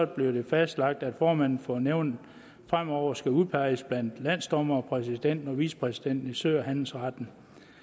bliver det fastlagt at formanden for nævnet fremover skal udpeges blandt landsdommere og præsidenten og vicepræsidenten i sø og handelsretten